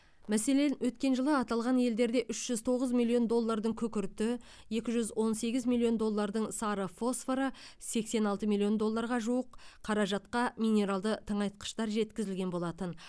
мәселен өткен жылы аталған елдерде үш жүз тоғыз миллион доллардың күкірті екі жүз он сегіз миллион доллардың сары фосфоры сексен алты миллион долларға жуық қаражатқа минералды тыңайтқыштар жеткізілген болатын